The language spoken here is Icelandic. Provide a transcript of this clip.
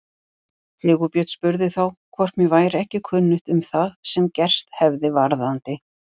Sigurbjörn spurði þá hvort mér væri ekki kunnugt um það sem gerst hefði varðandi